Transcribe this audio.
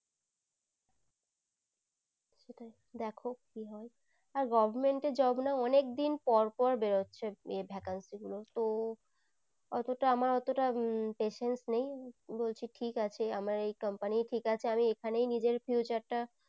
দেখো কি হয় আর government এর job না অনেক দিন পর পর বরেরছে vacancy গুলো তো আমার অতটা আমার অতটা উম patience নেই বলছি ঠিক আছে আমার এই patience ঠিক আছে আমি এখনই নিজের future টা